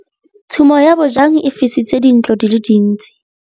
Tshumô ya bojang e fisitse dintlo di le dintsi.